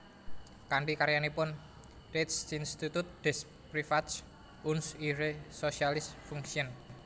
Kanthi karyanipun Rechtsinstitute des Privatrechts und ihre soziale Funktion